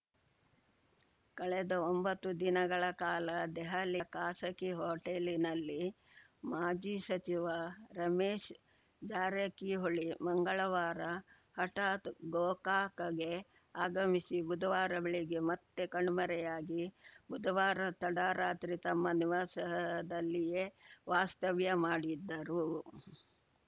ಕಳೆದ ಒಂಬತ್ತು ದಿನಗಳ ಕಾಲ ದೆಹಲಿಯ ಖಾಸಗಿ ಹೋಟೆಲಿನಲ್ಲಿ ಮಾಜಿ ಸಚಿವ ರಮೇಶ್ ಜಾರಕಿಹೊಳಿ ಮಂಗಳವಾರ ಹಠಾತ್‌ ಗೋಕಾಕಗೆ ಆಗಮಿಸಿ ಬುಧವಾರ ಬೆಳಗ್ಗೆ ಮತ್ತೆ ಕಣ್ಮರೆಯಾಗಿ ಬುಧವಾರ ತಡರಾತ್ರಿ ತಮ್ಮ ನಿವಾಸದಲ್ಲಿಯೇ ವಾಸ್ತವ್ಯ ಮಾಡಿದ್ದರು